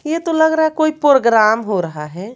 ये तो लग रहा है कोई प्रोग्राम हो रहा है।